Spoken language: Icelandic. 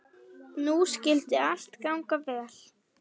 Nú skyldi allt ganga vel.